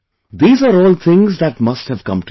These are all things that must have come to your mind